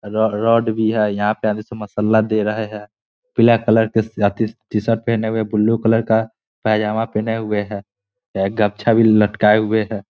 रो road भी है यहाँ पे आधे से दे रहे हैं पीला कलर का आदमी टी शर्ट पहने हुए ब्लू कलर का पेजामा पहने हुए है एक गमछा भी लटकाए हुए हैं।